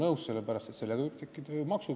Uus seadus annab inimesele võimaluse see kanne teha.